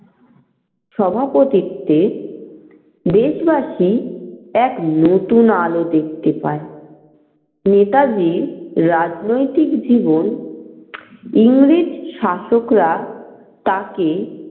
সভাপতিত্বে দেশবাসী এক নতুন আলো দেখতে পাই। নেতাজির রাজনৈতিক জীবন ইংরেজ শাসকরা তাকে